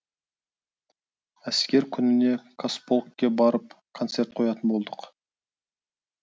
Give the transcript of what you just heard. әскер күніне қазполкке барып концерт қоятын болдық